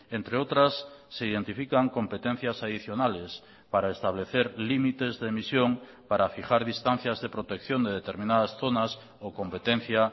entre otras se identifican competencias adicionales para establecer límites de emisión para fijar distancias de protección de determinadas zonas o competencia